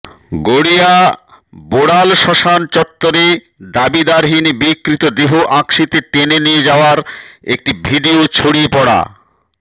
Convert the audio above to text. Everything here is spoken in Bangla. গড়িয়া বোড়াল শ্মশান চত্বরে দাবিদারহীন বিকৃত দেহ আঁকশিতে টেনে নিয়ে যাওয়ার একটি ভিড়িয়ো ছড়িয়ে পড়া